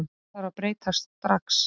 Þetta þarf að breytast strax